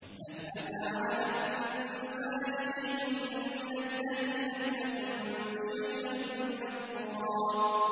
هَلْ أَتَىٰ عَلَى الْإِنسَانِ حِينٌ مِّنَ الدَّهْرِ لَمْ يَكُن شَيْئًا مَّذْكُورًا